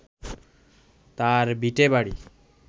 তাঁর ভিটেবাড়ি